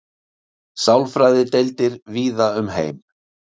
Sálfræðideildir víða um heim.